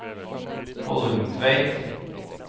Kollungtveit